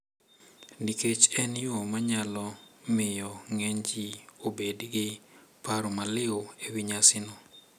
Nikech en yo ma nyalo miyo ng`eny ji obed gi paro maliw e wi nyasino.